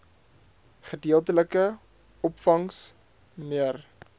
gedeeltelike opvangs mnr